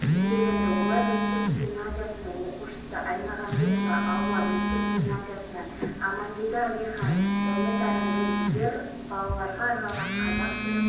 астанада маусым халықаралық заманауи этникалық музыка фестивалі өтуде әлемдегі заманауи этникалық музыканың ең белгілі өкілдерін қазақстан